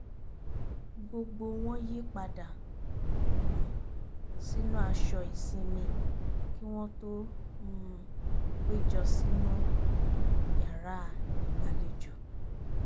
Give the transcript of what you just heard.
gbogbo wọn yí padà um sínú aṣọ ìsinmi kí wọ́n tó um péjọ sínú yàrá ìgbàlejò